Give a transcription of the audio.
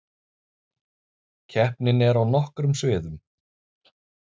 Keppnin er á nokkrum sviðum